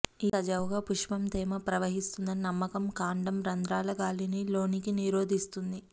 ఈ సజావుగా పుష్పం తేమ ప్రవహిస్తుందని నమ్మకం కాండం రంధ్రాల గాలిని లోనికి నిరోధిస్తుంది